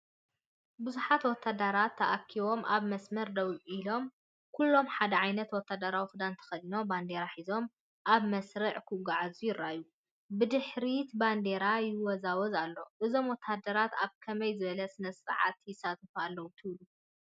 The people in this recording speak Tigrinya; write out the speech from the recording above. ብዙሓት ወተሃደራት ተኣኪቦም ኣብ መስርዕ ደው ኢሎም፡ ኩሎም ሓደ ዓይነት ወተሃደራዊ ክዳን ተኸዲኖም ባንዴራ ሒዞም ኣብ መስርዕ ክጓዓዙ ይረኣዩ። ብድሕሪት ባንዴራታት ይወዛወዛ ኣለዋ፡፡ እዞም ወተሃደራት ኣብ ከመይ ዝበለ ስነ-ስርዓት ይሳተፉ ኣለዉ ትብሉ?